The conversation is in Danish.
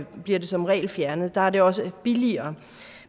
bliver det som regel fjernet der er det også billigere